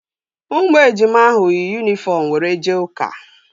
Ụmụ ejima ahụ yi yunifọm were jee ụka